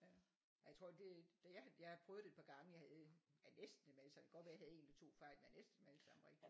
Jeg tror at det jeg jeg har prøvet det et par gange jeg havde næsten dem allesammen det kan godt være jeg havde 1 eller 2 fejl men næsten dem allesammen rigtige